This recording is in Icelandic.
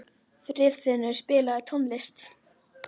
Friðfinnur, spilaðu tónlist.